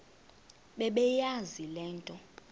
bebeyazi le nto